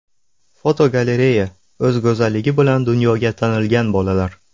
Fotogalereya: O‘z go‘zalligi bilan dunyoga tanilgan bolalar.